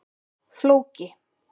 Flóki